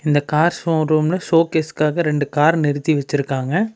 இந்த கார் ஷோரூம்ல ஷோகேஷ்காக ரெண்டு கார் நிறுத்தி வெச்சி இருகாங்க.